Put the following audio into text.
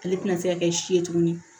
Ale tɛna se ka kɛ si ye tuguni